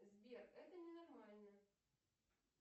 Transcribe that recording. сбер это ненормально